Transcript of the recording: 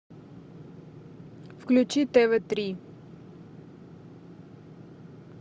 включи тв три